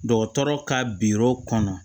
Dɔgɔtɔrɔ ka biyɔrɔ kɔnɔ